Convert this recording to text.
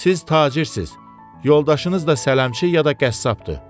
Siz tacirsiz, yoldaşınız da sələmçi ya da qəssabdır.